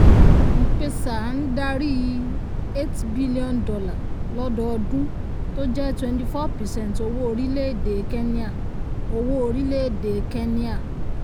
m-pesa ń darí $8b lọ́dọọdún tó jẹ́ 24 percent owó orílẹ̀-èdè kéníà. owó orílẹ̀-èdè kéníà.